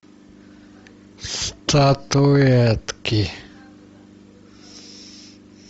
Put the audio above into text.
статуэтки